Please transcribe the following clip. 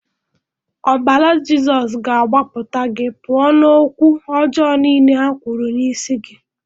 Ọbara Jizọs ga agbapụta gị pụọ na okwu ọjọ nile ha kwuru n'isi gị.